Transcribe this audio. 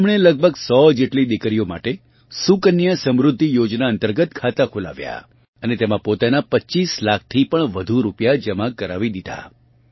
તેમણે લગભગ 100 જેટલી દીકરીઓ માટે સુકન્યા સમૃદ્ધિ યોજના અંતર્ગત ખાતા ખોલાવ્યા અને તેમાં પોતાનાં 25 લાખથી પણ વધુ રૂપિયા જમા કરાવી દીધા